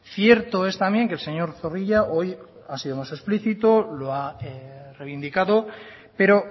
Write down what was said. cierto es también que el señor zorrilla hoy ha sido más explícito lo ha reivindicado pero